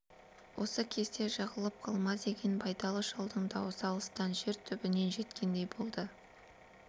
осы кезде жығылып қалма деген байдалы шалдың даусы алыстан жер түбінен жеткендей болды